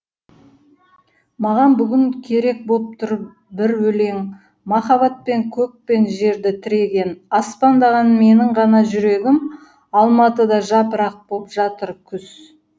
маған бүгін керек боп тұр бір өлең махаббатпен көк пен жерді тіреген аспандаған менің ғана жүрегім алматыда жапырақ боп жатыр күз